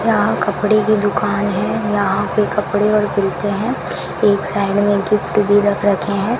यहां कपड़े की दुकान है यहां पे कपड़े और मिलते हैं एक साइड में गिफ्ट भी रख रखे हैं।